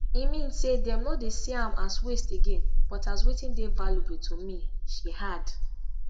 e mean say dem no dey see am as waste again but as wetin dey valuable to me she add